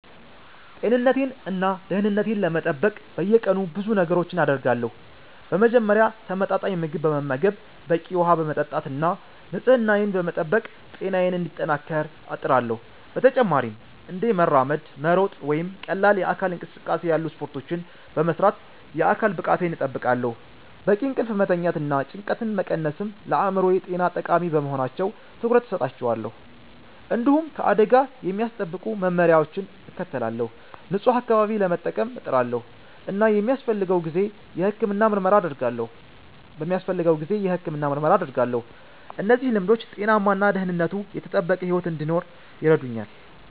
ጤንነቴን እና ደህንነቴን ለመጠበቅ በየቀኑ ብዙ ነገሮችን አደርጋለሁ። በመጀመሪያ ተመጣጣኝ ምግብ በመመገብ፣ በቂ ውሃ በመጠጣት እና ንጽህናዬን በመጠበቅ ጤናዬን እንዲጠናከር እጥራለሁ። በተጨማሪም እንደ መራመድ፣ መሮጥ ወይም ቀላል የአካል እንቅስቃሴ ያሉ ስፖርቶችን በመስራት የአካል ብቃቴን እጠብቃለሁ። በቂ እንቅልፍ መተኛትና ጭንቀትን መቀነስም ለአእምሮ ጤና ጠቃሚ በመሆናቸው ትኩረት እሰጣቸዋለሁ። እንዲሁም ከአደጋ የሚያስጠብቁ መመሪያዎችን እከተላለሁ፣ ንጹህ አካባቢ ለመጠቀም እጥራለሁ እና በሚያስፈልገው ጊዜ የሕክምና ምርመራ አደርጋለሁ። እነዚህ ልምዶች ጤናማ እና ደህንነቱ የተጠበቀ ሕይወት እንድኖር ይረዱኛል